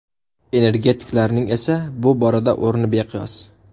Energetiklarning esa bu borada o‘rni beqiyos.